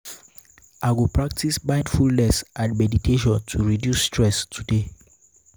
i go practice mindfulness and meditation to reduce stress today.